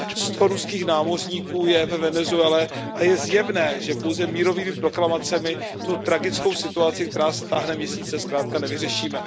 Sto ruských námořníků je ve Venezuele a je zjevné, že pouze mírovými proklamacemi tu tragickou situaci, která se táhne měsíce, dnes zkrátka nevyřešíme.